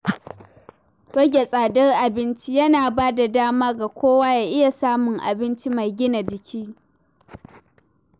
Rage tsadar abinci yana bada dama ga kowa ya iya samun abinci mai gina jiki.